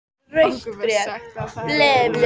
Okkur var sagt að það hefði kona lent í þessu.